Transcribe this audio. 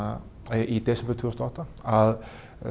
í desember tvö þúsund og átta að